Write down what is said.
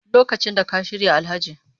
Lokacin da ka shirya Alhaji